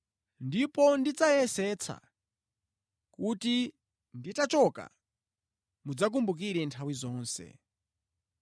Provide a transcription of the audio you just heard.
Ndipo ndidzayesetsa kuti nditachoka, mudzakumbukire nthawi zonse.